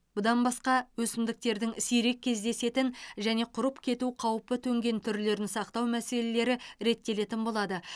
бұдай басқа өсімдіктердің сирек кездесетін және құрып кету қаупі төнген түрлерін сақтау мәселелері реттелетін болады